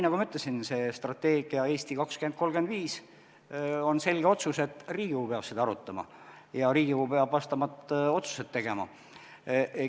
Nagu ma ütlesin, selle strateegia "Eesti 2035" kohta on selge otsus, et Riigikogu peab seda arutama ja Riigikogu peab vastavad otsused tegema.